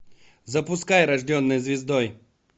запускай рожденная звездой